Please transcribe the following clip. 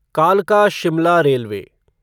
कालका शिमला रेलवे